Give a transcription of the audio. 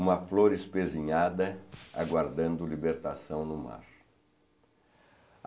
Uma flor espesinhada, aguardando libertação no mar.